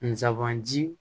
Nsaban ji